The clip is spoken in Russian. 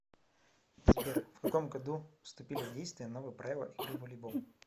сбер в каком году вступили в действие новые правила игры в волейбол